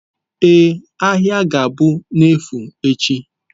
Ee, ahịa ga-abụ n'efu echi